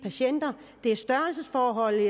forhold